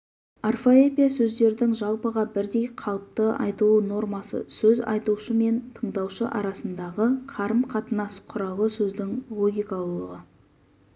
орфоэпия сөздердің жалпыға бірдей қалыпты айтылу нормасы сөз айтушы мен тыңдаушы арасындағы қарым-қатынас құралы сөздің логикалылығы